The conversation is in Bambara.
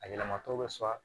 A yɛlɛmatɔ bɛ sɔrɔ